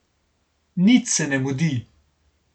Nič se ne mudi.